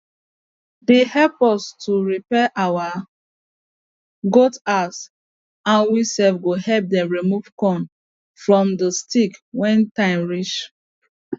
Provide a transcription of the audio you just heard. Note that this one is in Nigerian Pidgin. they help us to repair our goat house and we sef go help them remove corn from the stick when time reach